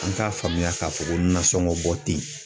An k'a faamuya k'a fɔ ko nasɔngɔ bɔ ten.